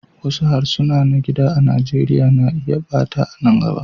Wasu harsuna na gida a Nijeriya na iya ɓata a nan gaba.